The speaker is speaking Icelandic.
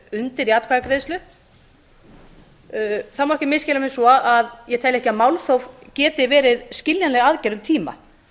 undir í atkvæðagreiðslu það má ekki misskilja mig svo að ég telji ekki að málþóf geti verið skiljanleg aðgerð um tíma